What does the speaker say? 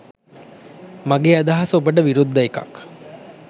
මගේ අදහස ඔබට විරුද්ධ එකක්.